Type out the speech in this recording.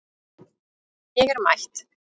Ég er mætt